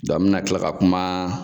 n mina tila ka kuma.